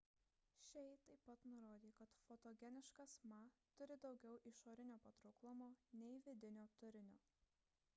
hsieh taip pat nurodė kad fotogeniškas ma turi daugiau išorinio patrauklumo nei vidinio turinio